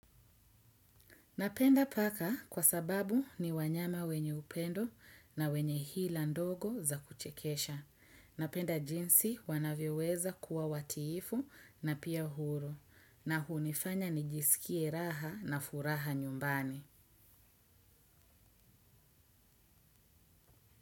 Napenda paka kwa sababu ni wanyama wenye upendo na wenye hila ndogo za kuchekesha. Napenda jinsi wanavyoweza kuwa watiifu na pia huru na hunifanya nijisikie raha na furaha nyumbani.